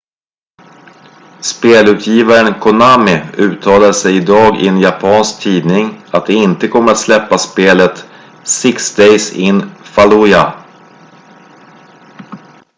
spelutgivaren konami uttalade sig idag i en japansk tidning att de inte kommer att släppa spelet six days in fallujah